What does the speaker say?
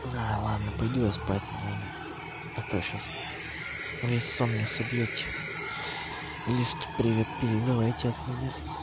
да ладно пойду я спать наверное а то сейчас весь сон мне собъёте лизке привет передавайте от меня